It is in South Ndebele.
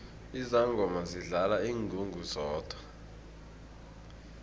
izangoma zidlala ingungu zodwa